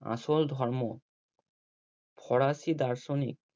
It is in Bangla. আসল ধর্ম ফরাসি দার্শনিক